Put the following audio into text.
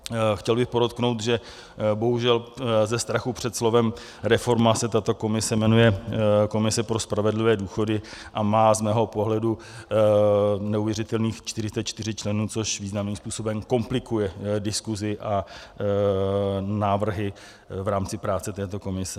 Chtěl bych podotknout, že bohužel ze strachu před slovem reforma se tato komise jmenuje Komise pro spravedlivé důchody a má z mého pohledu neuvěřitelných 44 členů, což významným způsobem komplikuje diskuzi a návrhy v rámci práce této komise.